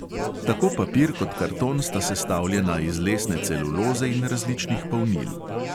Tako papir kot karton sta sestavljena iz lesne celuloze in različnih polnil.